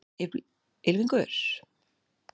Ylfingur, hvað er jörðin stór?